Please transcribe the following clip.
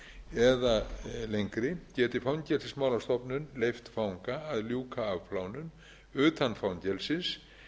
eða lengri geti fangelsismálastofnun leyft fanga að ljúka af afplánun utan fangelsis